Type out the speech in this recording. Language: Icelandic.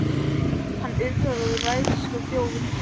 Hann urrar og ræðst á þjófinn.